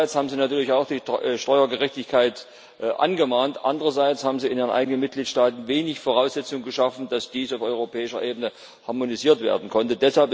Einerseits haben sie natürlich auch die Steuergerechtigkeit angemahnt, andererseits haben sie in ihren eigenen Mitgliedstaaten wenig Voraussetzung geschaffen, dass dies auf europäischer Ebene harmonisiert werden konnte.